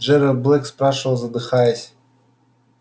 джералд блэк спрашивал задыхаясь